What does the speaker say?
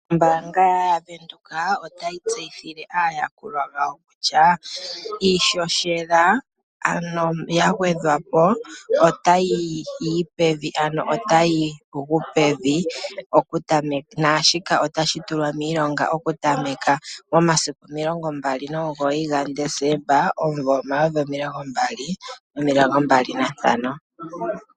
Ombaanga yaWindhoek otayi tseyithile aayakulwa yawo kutya iishoshela otayi gu pevi shika otashi tulwa miilonga momasiku 29 gaDesemba 2025.